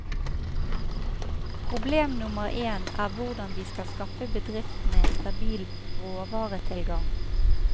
Problem nummer en er hvordan vi skal skaffe bedriften en stabil råvaretilgang.